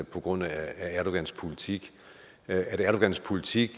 på grund af erdogans politik at erdogans politik